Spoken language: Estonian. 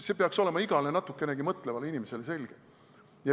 See peaks olema igale natukenegi mõtlevale inimesele selge.